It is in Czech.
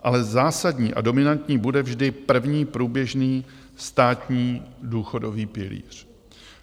Ale zásadní a dominantní bude vždy první průběžný státní důchodový pilíř.